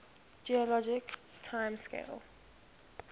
geologic time scale